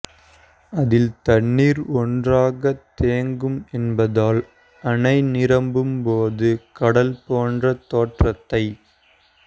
அதில் தண்ணீர் ஒன்றாக தேங்கும் என்பதால் அணை நிரம்பும்போது கடல் போன்ற தோற்றத்தை